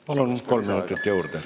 Palun, kolm minutit juurde!